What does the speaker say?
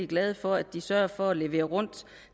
glade for de sørger for at levere rundt